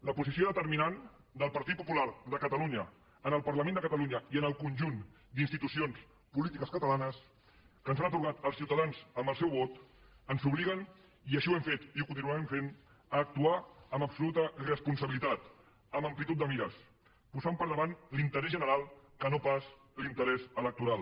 la posició determinant del partit popular de catalunya en el parlament de catalunya i en el conjunt d’institucions polítiques catalanes que ens han atorgat els ciutadans amb el seu vot ens obliga i així ho hem fet i ho continuarem fent a actuar amb absoluta responsabilitat amb amplitud de mires posant per davant l’interès general que no pas l’interès electoral